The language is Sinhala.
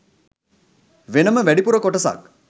වෙනම වැඩිපුර කොටසක්